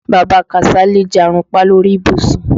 Bàbá Kàsálí jarunpá lórí ìbùsùn.